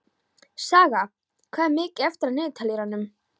Saga, hvað er mikið eftir af niðurteljaranum?